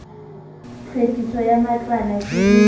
tlhwekiso ya matlwana ke le